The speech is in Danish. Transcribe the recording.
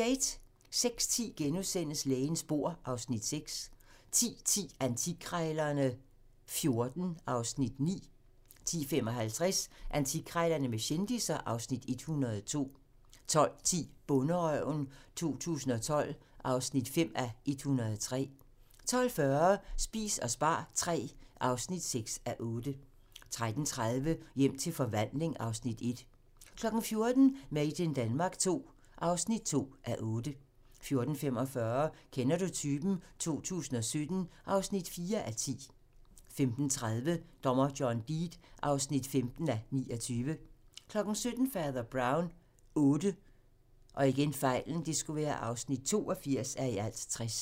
06:10: Lægens bord (Afs. 6)* 10:10: Antikkrejlerne XIV (Afs. 9) 10:55: Antikkrejlerne med kendisser (Afs. 102) 12:10: Bonderøven 2012 (2:103) 12:40: Spis og spar III (6:8) 13:30: Hjem til forvandling (Afs. 1) 14:00: Made in Denmark II (2:8) 14:45: Kender du typen? 2017 (4:10) 15:30: Dommer John Deed (15:29) 17:00: Fader Brown VIII (82:60)